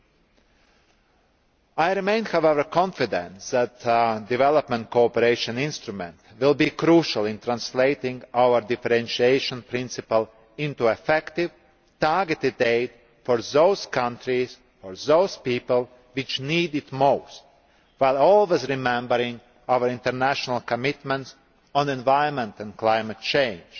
However, I remain confident that the Development Cooperation Instrument will be crucial in translating our differentiation principle into effective, targeted aid for those countries, or those people, which need it most, while always remembering our international commitments on environment and climate change.